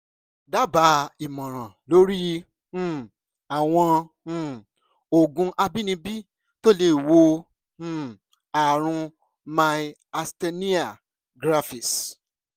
dábàá ìmọ̀ràn lórí um àwọn um oògùn àbínibí tó lè wo um ààrùn myasthenia gravis